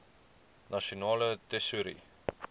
nasionale tesourie